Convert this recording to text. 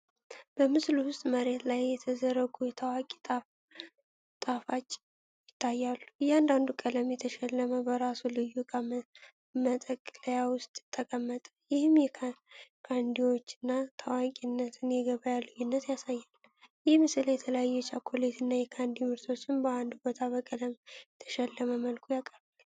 በምስሉ ውስጥመሬት ላይ በተዘረጉ የታዋቂ ጣፋጭ ይታያል። እያንዳንዱ በቀለም የተሸለመ በራሱ ልዩ እቃ መጠቅለያ ውስጥ ተቀመጠ፣ ይህም የካንዲዎቹን ታዋቂነትና የገበያ ልዩነት ያሳያል። ይህ ምስል የተለያዩ የቻኮሌት እና የካንዲ ምርቶችን በአንድ ቦታ በቀለም የተሸለመ መልኩ ያቀርባል።